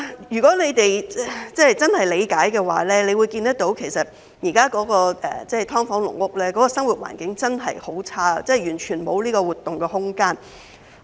如果你們真的能夠理解，其實現時的"劏房"、"籠屋"的生活環境真的很差，完全沒有活動空間。